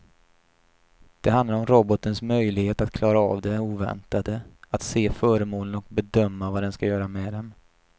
Det handlar om robotens möjlighet att klara av det oväntade, att se föremålen och bedöma vad den ska göra med dem.